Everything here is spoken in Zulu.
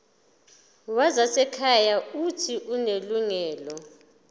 wezasekhaya uuthi unelungelo